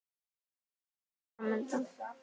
Hvað er svo fram undan?